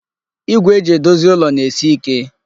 Igwe e ji edozi ụlọ na-esi ike.